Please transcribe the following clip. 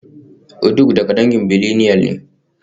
Uduak daga dangin billineal ne